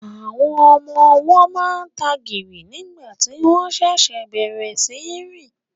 Àwọn ọmọ ọwọ́ máa ń tagìrì nígbà tí wọ́n ṣẹ̀ṣẹ̀ bẹ̀rẹ̀ sí í rìn